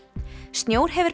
snjór hefur